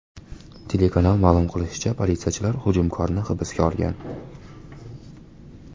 Telekanal ma’lum qilishicha, politsiyachilar hujumkorni hibsga olgan.